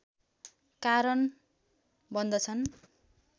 कारण बन्दछन्